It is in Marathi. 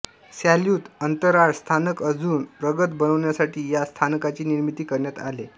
सॅल्युत अंतराळ स्थानक अजून प्रगत बनवण्यासाठी या स्थानकाची निर्मीती करण्यात आले